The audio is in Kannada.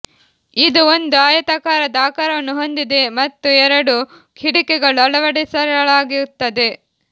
ಇದು ಒಂದು ಆಯತಾಕಾರದ ಆಕಾರವನ್ನು ಹೊಂದಿದೆ ಮತ್ತು ಎರಡು ಹಿಡಿಕೆಗಳು ಅಳವಡಿಸಿರಲಾಗುತ್ತದೆ